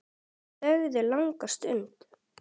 Þau þögðu langa stund.